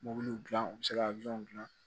Mobiliw dilan u bɛ se ka dilan